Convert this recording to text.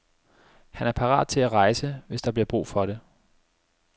Han er parat til at rejse, hvis der bliver brug for det.